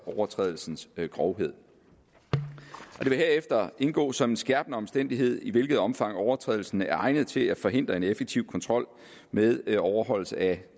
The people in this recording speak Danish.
overtrædelsens grovhed og det vil herefter indgå som en skærpende omstændighed i hvilket omfang overtrædelsen er egnet til at forhindre en effektiv kontrol med overholdelse af